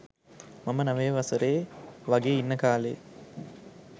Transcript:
මම නවය වසරෙ වගේ ඉන්න කාලෙ.